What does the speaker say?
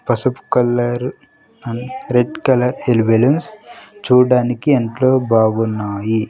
పసుపు colour and red colour air balloons చూడడానికి ఎంతో బాగున్నాయి.